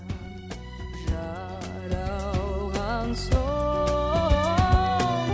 жаралған соң